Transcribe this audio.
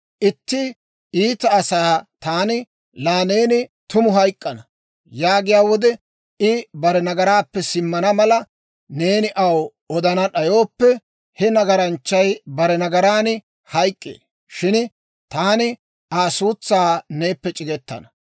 Itti iita asaa taani, ‹Laa neeni tumu hayk'k'ana› yaagiyaa wode, I bare nagaraappe simmana mala, neeni aw odana d'ayooppe, he nagaranchchay bare nagaran hayk'k'ee; shin taani Aa suutsaa neeppe c'igetana.